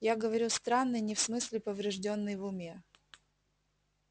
я говорю странный не в смысле повреждённый в уме